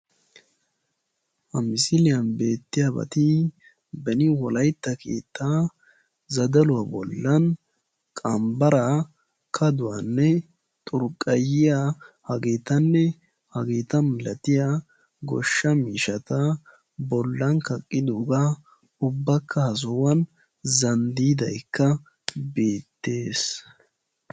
Ha misiliyan beettiyabat beni wolaytta keettaa zadaluwa bollan qambbaraa, kaduwanne xurqqayiya hageetanne hageeta milatiya goshsha miishshata bollan kaqqidoogaa ubbakka ha sohuwan zanddiidaykka beettees.